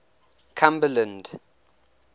cumberland